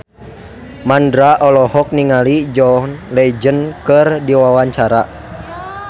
Mandra olohok ningali John Legend keur diwawancara